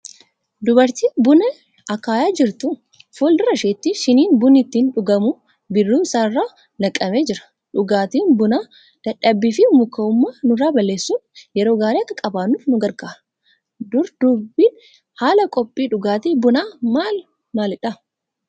Dubartii buna akaayaa jirtu. Fuul-dura isheetiin shiniin bunni ittiin dhugamu bidiruu isaa irra naqamee jira. Dhugaatiin bunaa dadhabbiifi mukaa'ummaa nurraa balleessuun yeroo gaarii akka qabaannuuf nu gargaara. Duraa duubni haala qophii dhugaatii bunaa maal maalidha?